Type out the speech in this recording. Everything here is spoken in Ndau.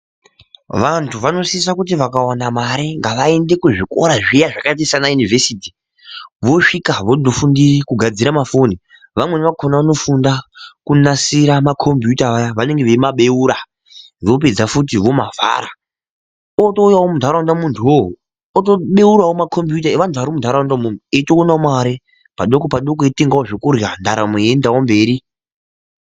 Vantu vanosisa kuti vakawana mare vaende kuzvikora zviya zvakaita sana Univhesiti vosvika vofundira kugadzira mafoni vamweni vakhona vanofunda kunasira makombiyuta vaya vanenge veimabeura vopedzafuti vomavhara, otouyawo muntaraunda muntuwowo otobeurawo makombiyuta evantu vari muntaraunda umwomwo eitoonawo mari padoko padoko eitengawo zvekurya ndaramo yeitoendawo mberi.